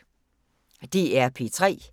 DR P3